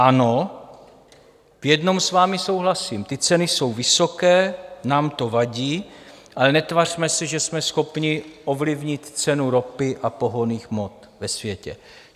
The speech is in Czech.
Ano, v jednom s vámi souhlasím: ty ceny jsou vysoké, nám to vadí, ale netvařme se, že jsme schopni ovlivnit cenu ropy a pohonných hmot ve světě.